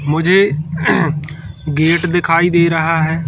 मुझे अहह गेट दिखाई दे रहा है।